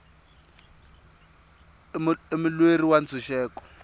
i mulweri wa ntshuxeko